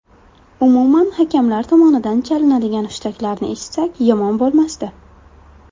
Umuman hakamlar tomonidan chalinadigan hushtaklarni eshitsak yomon bo‘lmasdi.